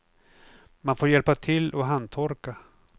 Man får hjälpa till och handtorka.